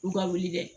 U ka wuli kɛ